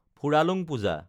Phuralung Puja